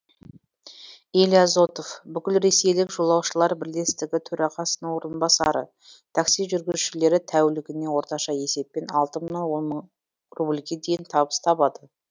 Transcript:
илья зотов бүкілресейлік жолаушылар бірлестігі төрағасының орынбасары такси жүргізушілері тәулігіне орташа есеппен алты мыңнан он мың рубльге дейін табыс табады